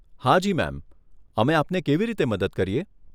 હાજી મેમ, અમે આપને કેવી રીતે મદદ કરીએ?